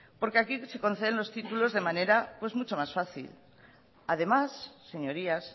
porque aquí se conceden los títulos de manera pues mucho más fácil además señorías